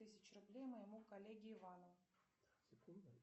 тысяч рублей моему коллеге ивану